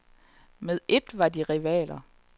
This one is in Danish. Med et var de rivaler.